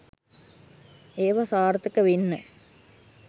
ඒව සාර්ථක වෙන්න